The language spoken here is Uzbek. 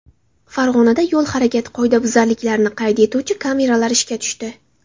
Farg‘onada yo‘l harakati qoidabuzarliklarini qayd etuvchi kameralar ishga tushdi.